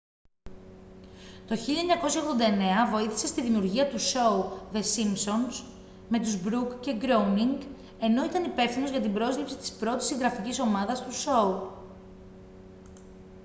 το 1989 βοήθησε στη δημιουργία του σόου the simpsons με τους μπρουκς και γκρόουνινγκ ενώ ήταν υπεύθυνος για την πρόσληψη της πρώτης συγγραφικής ομάδας του σόου